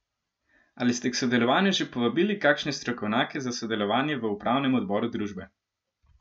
Ali ste k sodelovanju že povabili kakšne strokovnjake za sodelovanje v upravnem odboru družbe?